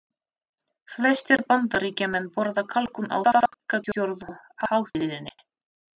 Flestir Bandaríkjamenn borða kalkún á þakkargjörðarhátíðinni.